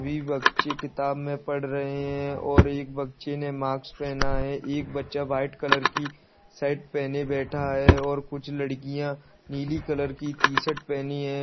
सभी बच्चे किताब में पढ़ रहे हैं और एक बच्‍चे ने मास्क पहना है एक बच्चा वाइट कलर की शर्ट पहने बैठा है और कुछ लड़कियां नीली कलर की टी-शर्ट पहनी हैं।